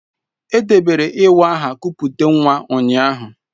Edebere iwa aha kupute nwa ụnyaahụ.